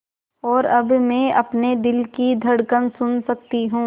और अब मैं अपने दिल की धड़कन सुन सकती हूँ